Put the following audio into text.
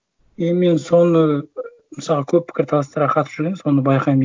е мен соны і мысалға көп пікірталастарға қатысып жүремін соны байқаймын